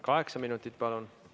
Kaheksa minutit, palun!